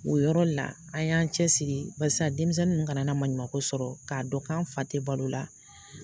O yɔrɔ la an y'an cɛsiri basi sisan denmisɛnnin ninnu kana maɲumanko sɔrɔ k'a dɔn k'an fa tɛ balo la